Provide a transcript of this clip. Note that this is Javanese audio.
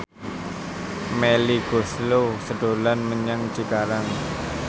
Melly Goeslaw dolan menyang Cikarang